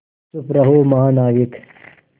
चुप रहो महानाविक